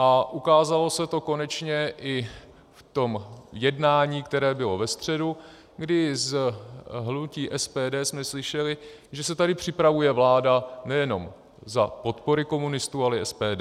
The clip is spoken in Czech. A ukázalo se to konečně i v tom jednání, které bylo ve středu, kdy z hnutí SPD jsme slyšeli, že se tady připravuje vláda nejenom za podpory komunistů, ale i SPD.